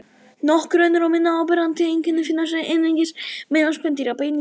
Nokkur önnur og minna áberandi einkenni finnast einungis meðal spendýra: Bein í miðeyra.